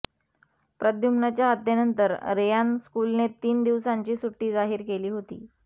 प्रद्युम्नच्या हत्येनंतर रेयान स्कूलने तीन दिवसांची सुट्टी जाहीर केली होती